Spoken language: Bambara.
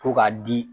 Ko k'a di